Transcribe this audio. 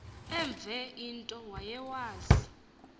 enve into wayewazi